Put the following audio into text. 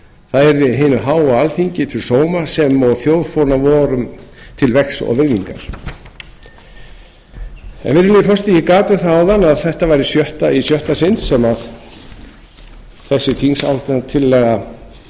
það yrði hinu háa alþingi til sóma sem og þjóðfána vorum til vegs og virðingar virðulegi forseti ég gat um það áðan að þetta væri í sjötta sinn sem þessi þingsályktunartillaga